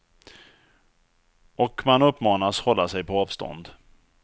Och man uppmanas hålla sig på avstånd.